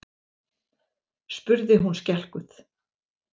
spurði hún skelkuð.